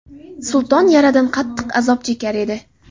Sulton yaradan qattiq azob chekar edi.